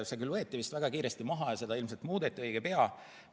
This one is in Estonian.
See küll võeti vist väga kiiresti maha ja seda muudeti õige pea.